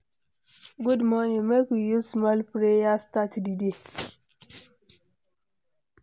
Good morning, make we use small prayer start di day.